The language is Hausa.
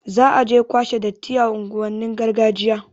Za aje kwashe datti a unguwannin gargajiya